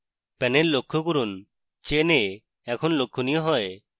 panel লক্ষ্য করুন chain a এখন লক্ষণীয় হয়